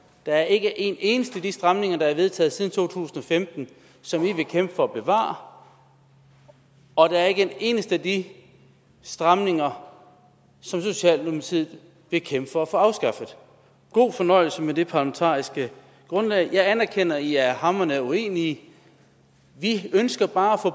der ikke er en eneste af de stramninger der er vedtaget siden to tusind og femten som i vil kæmpe for at bevare og at der ikke er en eneste af de stramninger som socialdemokratiet vil kæmpe for at få afskaffet god fornøjelse med det parlamentariske grundlag jeg anerkender at i er hamrende uenige vi ønsker bare at få